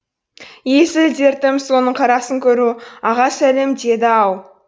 есіл дертім соның қарасын көру аға сәлем деді ау